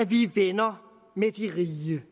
vi er venner med de rige